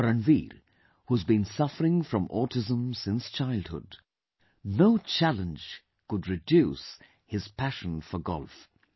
For Ranveer, who has been suffering from autism since childhood, no challenge could reduce his passion for Golf